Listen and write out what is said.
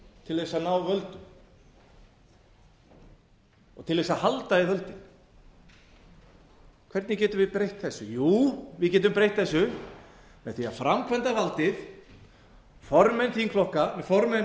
til að ná völdum og til að halda í völdin hvernig getum við breytt þessu jú við getum breytt þessu með því að framkvæmdarvaldið formenn